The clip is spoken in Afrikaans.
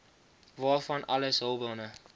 waarvan alles hulpbronne